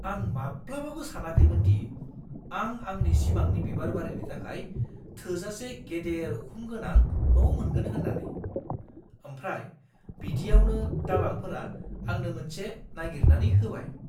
आं माब्लाबाबो सानाखैमोनदि आं आंनि सिमांनि बिबारबारिनि थाखाय थोजासे गेदेर उखुम गोनां न' मोनगोन होन्नानै, आमफ्राय बिदियावनो दालालफोरा आंनो मोनसे नायगिरनानै होबाय।